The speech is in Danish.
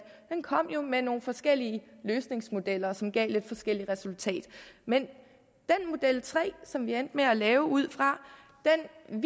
kom jo med nogle forskellige løsningsmodeller som gav lidt forskellige resultater men model tre som vi endte med at lave det ud fra er